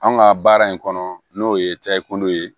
An ka baara in kɔnɔ n'o ye takuma ye